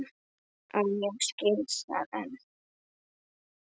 Og ég skil það enn.